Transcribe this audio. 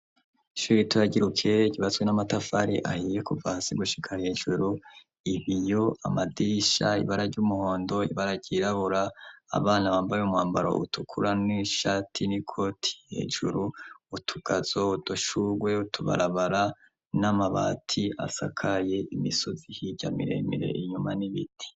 Ishure ritoya ry'i Ruke ryubatswe n'amatafari ahiye kuva hasi gushika hejuru, ibiyo, amadisha, ibara ry'umuhondo, ibara ryirabura, abana bambaye umwambaro utukura n'ishati n'ikoti hejuru, utugazo, udushurwe, utubarabara, n'amabati asakaye, imisozi hirya miremire inyuma n'ibiti.